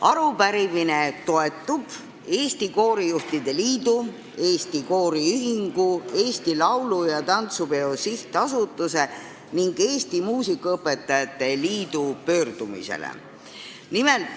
Arupärimine toetub Eesti Koorijuhtide Liidu, Eesti Kooriühingu, Eesti Laulu- ja Tantsupeo SA ning Eesti Muusikaõpetajate Liidu pöördumisele.